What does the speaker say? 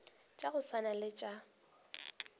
tša go swana le tša